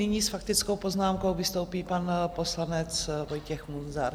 Nyní s faktickou poznámkou vystoupí pan poslanec Vojtěch Munzar.